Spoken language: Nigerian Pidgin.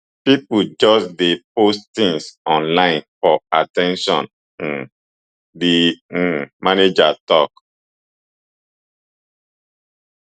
pipo just dey post tins online for at ten tion um di um manager tok